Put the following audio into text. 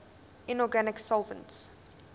inorganic solvents